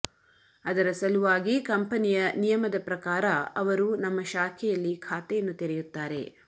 ಅದರ ಸಲುವಾಗಿ ಕಂಪನಿಯ ನಿಯಮದ ಪ್ರಕಾರ ಅವರು ನಮ್ಮ ಶಾಖೆಯಲ್ಲಿ ಖಾತೆಯನ್ನು ತೆರೆಯುತ್ತಾರೆ